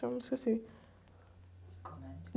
chama? Eu esqueci.e comédia?